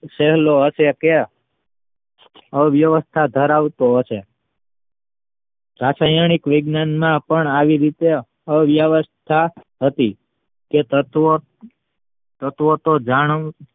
સહેલો હતો કે અવ્યવસ્થાધરાવતો હતો રાસાયણિક વૈજ્ઞાનના પણ આવી રીતે અવ્યવસ્થા હતી કે તત્વ તત્વ તો જાણો